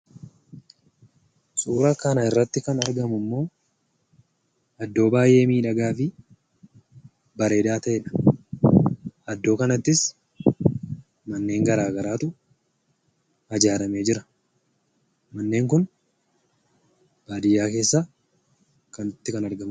Suuraa kanarratti kan argamummoo, iddoo baayyee miidhagaa fi bareedaa ta'edha. Iddoo kanattis manneen garagaraatu ijaaarramee jiraa. Manneen kun baadiyyaa keessaa kanatti kan argamudha.